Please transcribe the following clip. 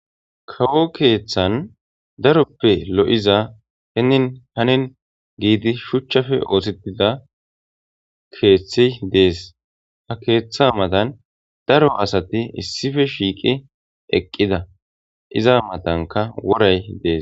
kawo keeththan daroppe lo7iza heenin hanin giidi shuchchafe oothitida keeththi dees ha keeththa matan daro asati issife shiiqi eqqida iza matanka woray dees